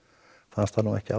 fannst það nú ekki